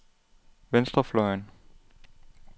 venstrefløjen